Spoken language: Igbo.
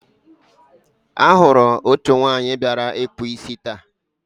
a hụrụ otu nwanyị bịara ịkpụ isi taa.